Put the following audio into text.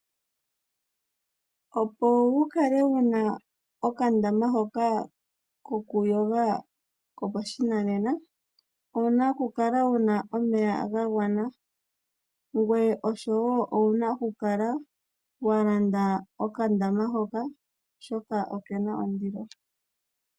Opo wukale wuna okandama hoka ko ku yoga kopashinanena, owuna okukala wuna omeya ga gwana ngweye oshowo owuna okukala walanda okandama hoka oshoka okena ondilo.